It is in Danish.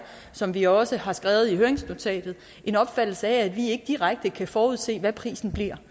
som vi også har skrevet i høringsnotatet en opfattelse af at vi ikke direkte kan forudse hvad prisen bliver